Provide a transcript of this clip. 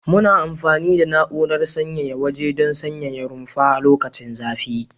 Muna amfani da na'urar sanyaya waje don sanyaya rumfa lokacin zafi.